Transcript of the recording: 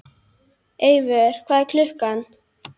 Eivör, hvað er klukkan?